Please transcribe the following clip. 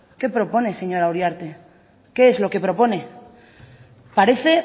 qué propone señora uriarte qué es lo que propone parece